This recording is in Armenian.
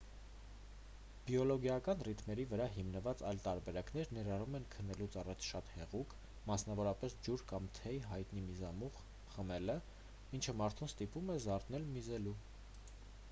բիոլոգիական ռիթմերի վրա հիմնված այլ տարբերակներ ներառում են քնելուց առաջ շատ հեղուկ մասնավորապես՝ ջուր կամ թեյ հայտնի միզամուղ խմելը ինչը մարդուն ստիպում է զարթնել միզելու։